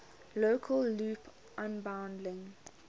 local loop unbundling